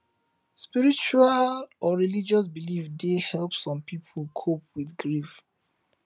spiritual or religious beliefs dey help some people cope with grief